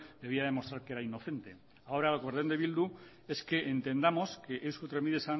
debía de demostrar que era inocente ahora por orden de eh bildu es que entendamos que eusko trenbide